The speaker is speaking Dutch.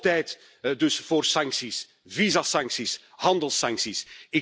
Hoog tijd dus voor sancties, visumsancties, handelssancties.